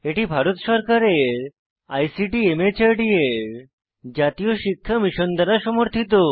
এটি ভারত সরকারের ICT MHRD এর জাতীয় সাক্ষরতা মিশন দ্বারা সমর্থিত